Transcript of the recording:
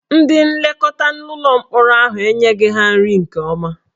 Ndị nlekọta ụlọ mkpọrọ ahụ enyeghị ha nri nke ọma